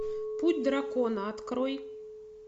путь дракона открой